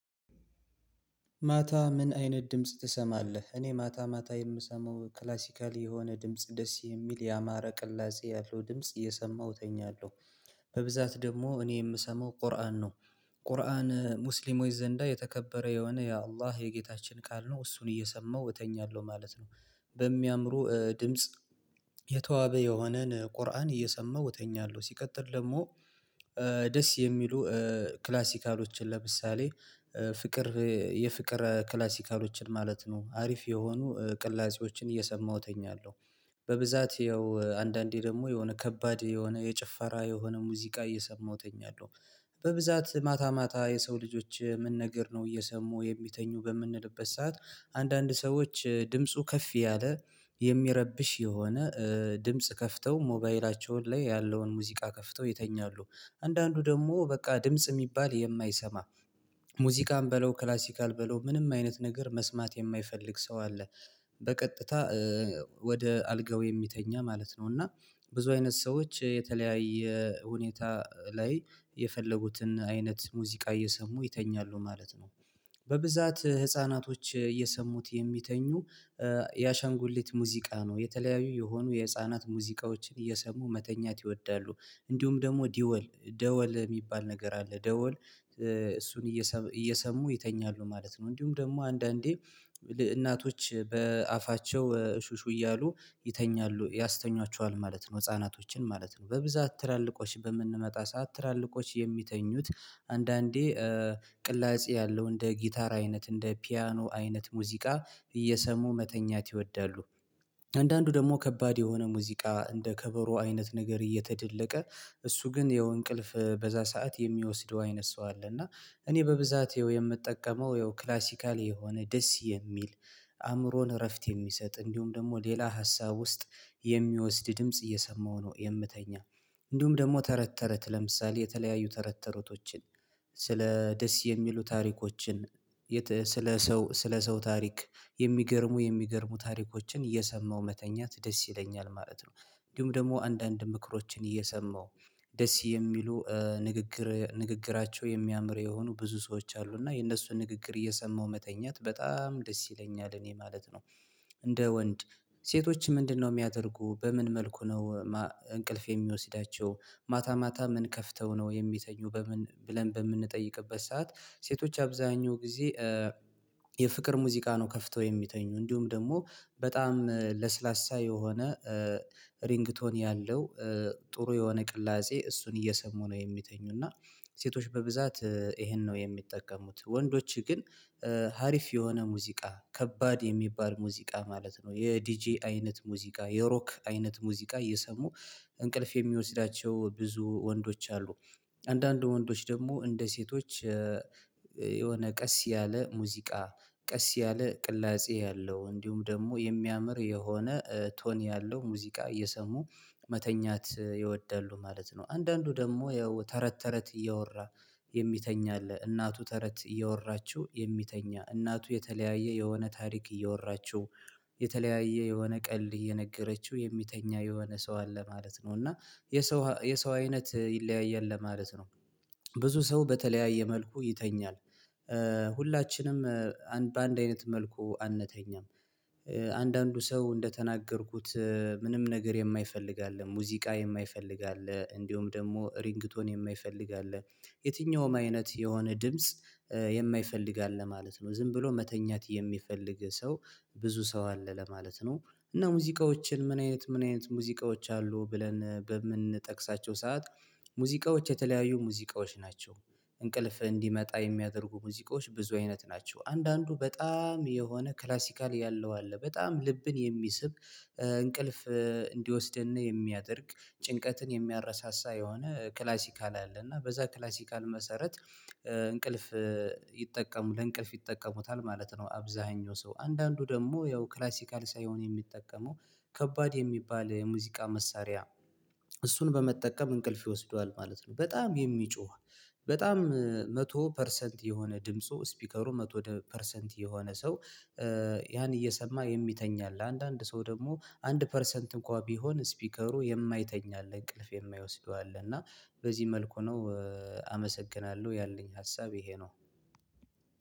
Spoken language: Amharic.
ማታ ምን አይነት ድምጽ ትሰማለህ? እኔ ማታ ማታ የምሰማው ክላሲካሊ የሆነ ድምጽ ደስ የሚል ያማረ ቅላጼ ያልሆነ ድምጽ እየሰማሁ ተኛለሁ። በብዛት ደግሞ እኔ የምሰማው ቁርአን ነው። ቁርአን ሙስሊሞች ዘንዳ የተከበረ የሆነ ያው አላህ የጌታችን ቃል ነው እሱን እየሰማው እተኛለሁ ማለት ነው። በሚያምሩ ድምጽ የተዋበ የሆነን ቁርአን እየሰማው እተኛለሁ ሲቀጥል ደግሞ። ደስ የሚሉ ክላሲካሎችን ለምሳሌ ፍቅር የፍቅር ክላሲካሎችን ማለት ነው አሪፍ የሆኑ ቅላጼዎችን እየሰማሁ ተኛለሁ። በብዛት ያው አንዳንዴ ደግሞ የሆነ ከባድ የሆነ የጭፈራ የሆነ ሙዚቃ እየሰማሁ ተኛለሁ። በብዛት ማታ ማታ የሰው ልጆች ምን ነገር ነው እየሰሙ የሚተኙ በምንልበት ሰዓት አንዳንድ ሰዎች ድምፁ ከፍ ያለ የሚረብሽ የሆነ ድምጽ ከፍተው ሞባይላቸውን ላይ ያለውን ሙዚቃ ከፍተው ይተኛሉ። አንዳንዱ ደግሞ በቃ ድምጽ የሚባል የማይሰማ ሙዚቃም በለው ክላሲካል በለው ምንም አይነት ነገር መስማት የማይፈልግ ሰው አለ። በቀጥታ ወደ አልጋው የሚተኛ ማለት ነው። እና ብዙ አይነት ሰዎች የተለያየ ሁኔታ ላይ የፈለጉትን አይነት ሙዚቃ እየሰሙ ይተኛሉ ማለት ነው። በብዛት ህፃናቶች እየሰሙት የሚተኙ ያሻንጉሌት ሙዚቃ ነው የተለያዩ የሆኑ የህፃናት ሙዚቃዎችን እየሰሙ መተኛት ይወዳሉ። እንዲሁም ደግሞ ደወል ደወል የሚባል ነገር አለ ደወል እሱን እየሰሙ ይተኛሉ ማለት ነው። እንዲሁም ደግሞ አንዳንዴ እናቶች በአፋቸው ሹሹ እያሉ ይተኛሉ ያስተኛቸዋል ማለት ነው ህፃናቶችን ማለት ነው። በብዛት ትላልቆች በምንመጣ ሰዓት ትላልቆች የሚተኙት አንዳንዴ ቅላጼ ያለው እንደ ጊታር አይነት እንደ ፒያኖ አይነት ሙዚቃ እየሰሙ መተኛት ይወዳሉ። አንዳንዱ ደግሞ ከባድ የሆነ ሙዚቃ እንደ ከበሮ አይነት ነገር እየተደለቀ እሱ ግን ይኸው እንቅልፍ በዛ ሰዓት የሚወስደው አይነት ሰው አለ። እና እኔ በብዛት ይኸው የምጠቀመው ይኸው ክላሲካል የሆነ ደስ የሚል አእምሮን እረፍት የሚሰጥ እንዲሁም ደግሞ ሌላ ሀሳብ ውስጥ የሚወስድ ድምጽ እየሰማሁ ነው የምተኛው። እንዲሁም ደግሞ ተረት ተረት ለምሳሌ የተለያዩ ተረት ተረቶችን ስለ ደስ የሚሉ ታሪኮችን ስለ ሰው ስለ ሰው ታሪክ የሚገርሙ የሚገርሙ ታሪኮችን እየሰማሁ መተኛት ደስ ይለኛል ማለት ነው። እንዲሁም ደግሞ አንዳንድ ምክሮችን እየሰማሁ ደስ የሚሉ ንግግር ንግግራቸው የሚያምር የሆኑ ብዙ ሰዎች አሉ እና የነሱን ንግግር እየሰማው መተኛት በጣም ደስ ይለኛል እኔ ማለት ነው። እንደ ወንድ ሴቶች ምንድነው የሚያደርጉ በምን መልኩ ነው? እንቅልፍ የሚወስዳቸው ማታ ማታ ምን ከፍተው ነው የሚተኙ በምን ብለን በምንጠይቅበት ሰዓት? ሴቶች አብዛኛው ጊዜ የፍቅር ሙዚቃ ነው ከፍተው የሚተኙ እንዲሁም ደግሞ በጣም ለስላሳ የሆነ ሪንግቶን ያለው ጥሩ የሆነ ቅላጼ እሱን እየሰሙ ነው የሚተኙ እና። ሴቶች በብዛት ይሄን ነው የሚጠቀሙት ወንዶችህ ግን ሀሪፍ የሆነ ሙዚቃ ከባድ የሚባል ሙዚቃ ማለት ነው የዲጄ አይነት ሙዚቃ የሮክ አይነት ሙዚቃ እየሰሙ እንቅልፍ የሚወስዳቸው ብዙ ወንዶች አሉ። አንዳንድ ወንዶች ደግሞ እንደ ሴቶች የሆነ ቀስ ያለ ሙዚቃ ቀስ ያለ ቅላጼ ያለው እንዲሁም ደግሞ የሚያምር የሆነ ቶን ያለው ሙዚቃ እየሰሙ መተኛት ይወዳሉ ማለት ነው። አንዳንዱ ደግሞ ያው ተረት ተረት እያወራ የሚተኛ አለ። እናቱ ተረት እያወራችሁ የሚተኛ እናቱ የተለያየ የሆነ ታሪክ እየወራችው የተለያየ የሆነ ቀልድ እየነገረችው የሚተኛ የሆነ ሰው አለ ማለት ነው። እና የሰው የሰው አይነት ይለያያል ለማለት ነው። ብዙ ሰው በተለያየ መልኩ ይተኛል። ሁላችንም በአንድ አይነት መልኩ አንተኛም። አንዳንዱ ሰው እንደተናገርኩት ምንም ነገር የማይፈልግ አለ ሙዚቃ የማይፈልግ አለ እንዲሁም ደግሞ ሪንግቶን የማይፈልግ አለ። የትኛውም አይነት የሆነ ድምጽ የማይፈልግ አለ ማለት ነው። ዝም ብሎ መተኛት የሚፈልግ ሰው ብዙ ሰው አለ ለማለት ነው። እና ሙዚቃዎችን ምን አይነት ምን አይነት ሙዚቃዎች አሉ ብለን በምንጠቅሳቸው ሰዓት? ሙዚቃዎች የተለያዩ ሙዚቃዎች ናቸው። እንቅልፍ እንዲመጣ የሚያደርጉ ሙዚቃዎች ብዙ አይነት ናቸው። አንዳንዱ በጣም የሆነ ክላሲካል ያለው አለ በጣም ልብን የሚስብ እንቅልፍ እንዲወስደን የሚያደርግ ጭንቀትን የሚያረሳሳ የሆነ ክላሲካል አለ እና በዛ ክላሲካል መሰረት እንቅልፍ ይጠቀሙ ለእንቅልፍ ይጠቀሙታል ማለት ነው። አብዛኛው ሰው አንዳንዱ ደግሞ ያው ክላሲካል ሳይሆን የሚጠቀመው ከባድ የሚባል የሙዚቃ መሳሪያ እሱን በመጠቀም እንቅልፍ ይወስደዋል ማለት ነው። በጣም የሚጮህ በጣም መቶ ፐርሰንት የሆነ ድምፁ ስፒከሩ መቶ ወደ ፐርሰንት የሆነ ሰው ያን እየሰማ የሚተኛ አለ። አንዳንድ ሰው ደግሞ አንድ ፐርሰንት እንኳን ቢሆን ስፒከሩ የማይተኛ አለ እንቅልፍ የማይወስደው አለ። እና በዚህ መልኩ ነው። አመሰግናለሁ ያለኝ ሀሳብ ይሄ ነው።